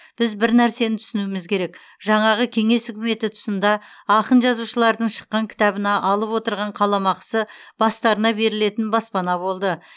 біз бір нәрсені түсінуіміз керек жаңағы кеңес үкіметі тұсында ақын жазушылардың шыққан кітабына алып отырған қаламақысы бастарына берілетін баспана болды